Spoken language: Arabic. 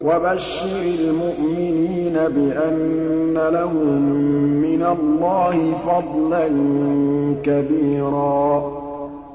وَبَشِّرِ الْمُؤْمِنِينَ بِأَنَّ لَهُم مِّنَ اللَّهِ فَضْلًا كَبِيرًا